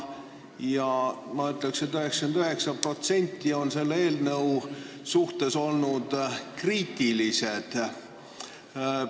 Ma ütleks, et 99% nendest on selle eelnõu suhtes olnud kriitilised.